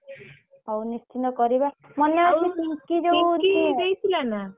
ହଉ ନିଶ୍ଚିନ୍ତ କରିବା